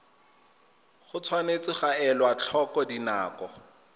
tshwanetse ga elwa tlhoko dinako